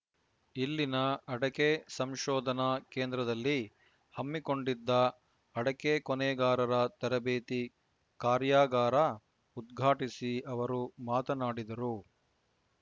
ಇಲ್ಲಿನ ಅಡಕೆ ಸಂಶೋಧನಾ ಕೇಂದ್ರದಲ್ಲಿ ಹಮ್ಮಿಕೊಂಡಿದ್ದ ಅಡಕೆ ಕೊನೆಗಾರರ ತರಬೇತಿ ಕಾರ್ಯಾಗಾರ ಉದ್ಘಾಟಿಸಿ ಅವರು ಮಾತನಾಡಿದರು